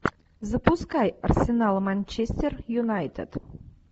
запускай арсенал манчестер юнайтед